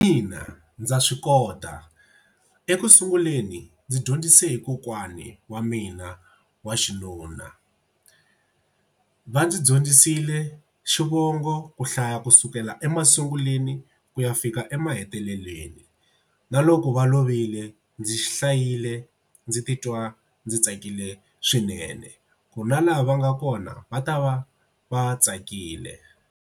Ina, ndza swi kota ekusunguleni ndzi dyondzise hi kokwani wa mina wa xinuna. Va ndzi dyondzisile xivongo ku hlaya kusukela emasunguleni ku ya fika emaheteleleni na loko va lovile ndzi xi hlayile ndzi titwa ndzi tsakile swinene ku na laha va nga kona va ta va va tsakile.